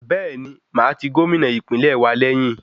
Bẹ́ẹ̀ni, màá ti Gómìnà ìpínlẹ̀ wa lẹ́yìn.